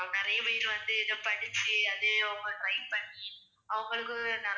நிறைய பேர் வந்து இதை படிச்சு அதை அவங்க try பண்ணி அவங்களுக்கு நிறைய